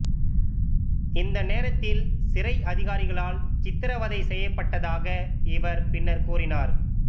இந்த நேரத்தில் சிறை அதிகாரிகளால் சித்திரவதை செய்யப்பட்டதாக இவர் பின்னர் கூறினார்